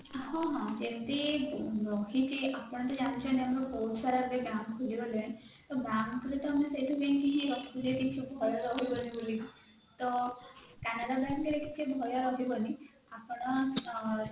ହଁ ହଁ ଯେମତି ରଖିଛି ଆପଣ ଜାଣିଛନ୍ତି ଆମର ବହୁତସାରା ଏବେ bank ଖୋଲିଗଲାଣି ତ bankରେ ତ ଆମେ ସେଉଠୁ ଯାଇକି ଇଏ ରଖିପାରିବା କିଛି ଭୟ ରହିବନି ବୋଲି ତ canara bankରେ ଟିକେ ଭୟ ରହିବନି ଆପଣ ଆଁ